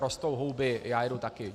Rostou houby, já jedu taky.